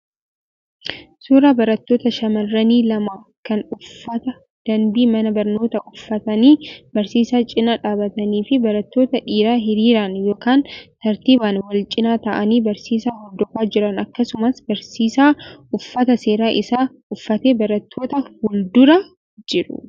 Suuraa barattoota shamarranii lama kan uffata danbii mana barnootaa uffatanii barsiisaa cinaa dhaabbatanii fi barattoota dhiiraa hiriiraan yookaan tartiibaan wal-cinaa taa'anii barsiisaa hordofaa jiran akkasumas barsiisaa uffata seeraa isaa uffatee barattoota fuuldura jiru.